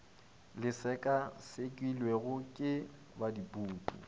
le sekasekilwego ke ba dipuku